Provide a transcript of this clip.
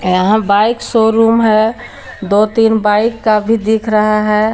यहां bike showroom है दो तीन बाइक का भी दिख रहा है।